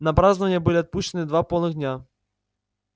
на празднования были отпущены два полных дня